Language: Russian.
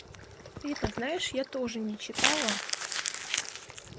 ты это знаешь я тоже не читала